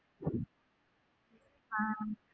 ஹம்